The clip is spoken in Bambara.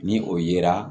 Ni o yera